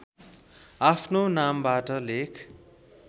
आफ्नो नामबाट लेख